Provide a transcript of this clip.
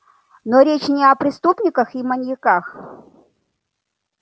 но речь не о преступниках и маньяках